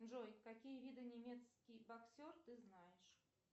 джой какие виды немецкий боксер ты знаешь